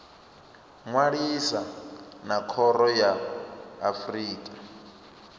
ṅwalisa na khoro ya afrika